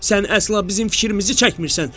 “Sən əsla bizim fikrimizi çəkmirsən.